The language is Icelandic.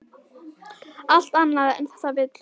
Allt annað en þetta vill hún.